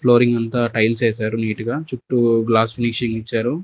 Flooring అంతా tiles వేసారు neat గా చుట్టూ గ్లాస్ ఫినిషింగ్ ఇచ్చారు.